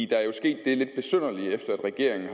der er jo sket det at regeringen